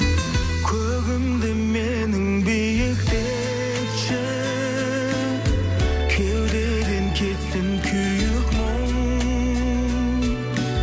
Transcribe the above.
көгімді менің биіктетші кеудеден кетсін күйік мұң